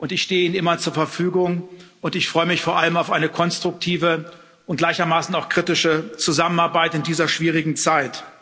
Ich stehe Ihnen immer zur Verfügung, und ich freue mich vor allem auf eine konstruktive und gleichermaßen auch kritische Zusammenarbeit in dieser schwierigen Zeit.